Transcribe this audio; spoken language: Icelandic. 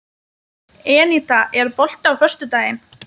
Eníta, er bolti á föstudaginn?